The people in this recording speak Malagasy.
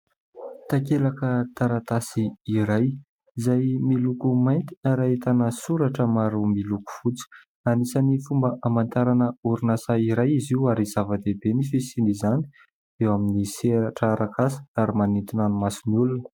Takelaka taratasy iray izay miloko mainty ary ahitana soratra maro miloko fotsy. Anisany fomba hamantarana orinasa iray izy io ary zava-dehibe ny fisiany izany eo amin'ny sehatra arak'asa ary manintona maso ny olona.